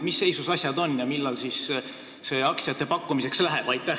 Mis seisus asjad on ja millal siis aktsiate pakkumiseks läheb?